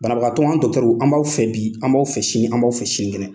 Banabagatɔ anw dɔkitɛriw, an b'aw fɛ bi an b'aw fɛ sini , an b'aw fɛ sini kɛnɛ!